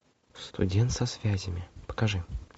студент со связями покажи